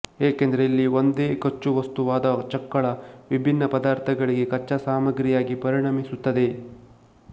ಏಕೆಂದರೆ ಇಲ್ಲಿ ಒಂದೇ ಕಚ್ಚಾವಸ್ತುವಾದ ಚಕ್ಕಳ ವಿಭಿನ್ನ ಪದಾರ್ಥಗಳಿಗೆ ಕಚ್ಚಾಸಾಮಗ್ರಿಯಾಗಿ ಪರಿಣಮಿಸುತ್ತದೆ